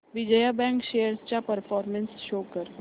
Vijaya bank shares चा performance show कर